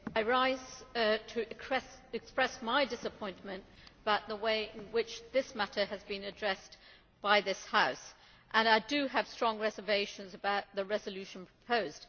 Mr President, I rise to express my disappointment about the way in which this matter has been addressed by this House. I have strong reservations about the resolution proposed.